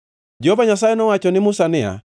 Jehova Nyasaye nowacho ne Musa niya,